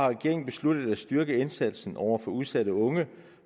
regeringen besluttet at styrke indsatsen over for udsatte unge